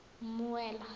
mmuela